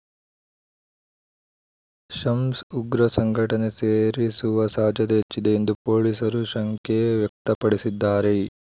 ಶಮ್ಸ್‌ ಉಗ್ರ ಸಂಘಟನೆ ಸೇರಿಸುವ ಸಾಧ್ಯತೆ ಹೆಚ್ಚಿದೆ ಎಂದು ಪೊಲೀಸರು ಶಂಕೆ ವ್ಯಕ್ತಪಡಿಸಿದ್ದಾರೆ